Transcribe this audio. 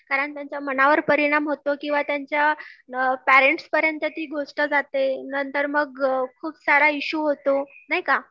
कारण त्यांच्या मनावर परिणाम होतो किंवा त्यांच्या पेरेंट्स पर्यंत ती गोष्ट जाते नंतर मग खूप सारा इशू होतो नाही का